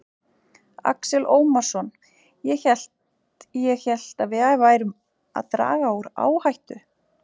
Axel Ómarsson: Ég hélt, ég hélt að við værum að draga úr áhættu?